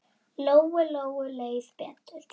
Lóu-Lóu leið betur.